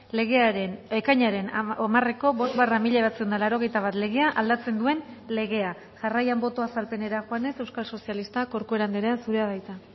legearen ekainaren hamareko bost barra mila bederatziehun eta laurogeita bat legea aldatzen duen legea jarraian boto azalpenera joanez euskal sozialistak corcuera andrea zurea da hitza